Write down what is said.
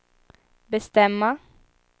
bestämma